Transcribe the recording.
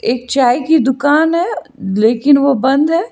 एक चाय की दुकान है लेकिन वो बंद है।